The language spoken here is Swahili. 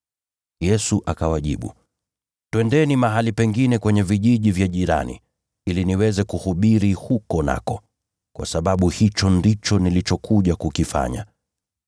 Yesu akawajibu, “Twendeni mahali pengine kwenye vijiji jirani, ili niweze kuhubiri huko pia, kwa sababu hicho ndicho nilichokuja kukifanya.”